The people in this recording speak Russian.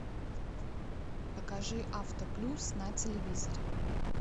покажи автоплюс на телевизоре